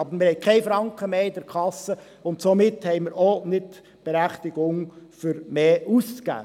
Aber wir haben keinen Franken mehr in der Kasse, und somit haben wir auch nicht die Berechtigung, mehr auszugeben.